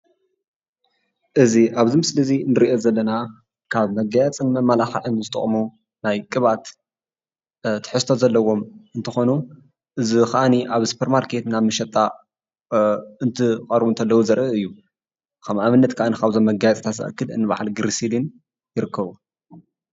እዚ አብዚ ምስሊ እዚ እንሪኦ ዘለና ካብ መጋየፅን መማላክዕን ዝጠቅሙ ናይ ቅብአት ትሕዝቶ ዘለዎም እንትኮኑ እዙይ ከዓኒ አብ ሱፐር ማርኬት ናብ መሸጣ እንትቀርቡ እንተለው ዘርኢ እዩ። ከም አብነት ከዓ ከም በዓል ግርስሊን ይርከቡ።